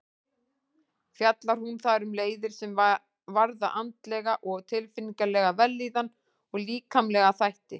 Fjallar hún þar um leiðir sem varða andlega og tilfinningalega vellíðan og líkamlega þætti.